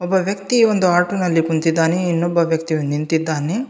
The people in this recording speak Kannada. ಒಬ್ಬ ವ್ಯಕ್ತಿ ಒಂದು ಆಟೋ ನಲ್ಲಿ ಕುಂತಿದ್ದಾನೆ ಇನ್ನೊಬ್ಬ ವ್ಯಕ್ತಿಯು ನಿಂತಿದ್ದಾನೆ.